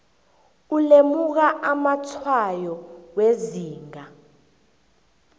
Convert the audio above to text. ulemuka amatshwayo wezinga